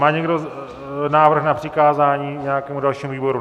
Má někdo návrh na přikázání nějakému dalšímu výboru?